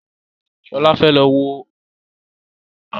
Shola fè ló wọ Ààmì iye owó irinṣẹ́ yí.